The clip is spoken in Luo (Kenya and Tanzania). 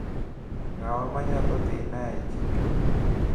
Ng`awa manyalo dhina e chiro.